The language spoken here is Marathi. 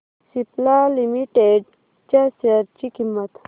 सिप्ला लिमिटेड च्या शेअर ची किंमत